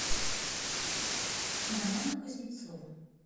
романа кузнецова